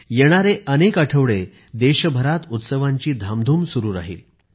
येणारे अनेक आठवडे देशभरात उत्सवांची धामधूम सुरू राहील